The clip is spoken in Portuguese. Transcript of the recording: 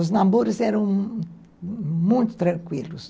Os namoros eram muito tranquilos.